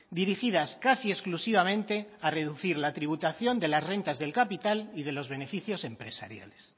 dirigidas casi exclusivamente a reducir la tributación de las rentas del capital y de los beneficios empresariales